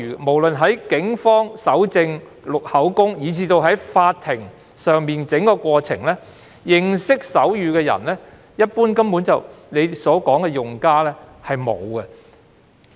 不論在警方搜證、錄取口供，以至法庭審訊的整個過程中，司長所說的用家中，一般來說沒有人懂得手語。